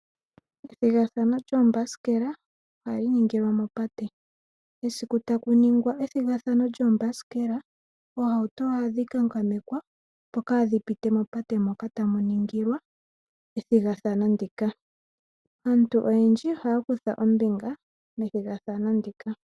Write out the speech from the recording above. Ethigathano lyoombasikelo esiku takiningwa ethigathano lyoomabasikela oohauto ohadhi kankamekwa opo kaadhi pitile mopate moka tamu ningilwa ethigathano ndika . Aantu oyendji ohaya kutha ombinga methigathano ndika